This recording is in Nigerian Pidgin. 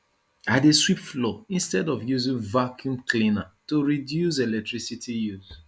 i dey sweep floor instead of using vacuum cleaner to reduce electricity use